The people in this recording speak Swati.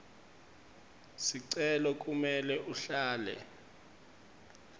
sicelo kumele uhlale